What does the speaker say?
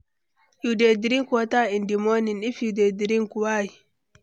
you dey drink water in di morning, if you dey drink, why?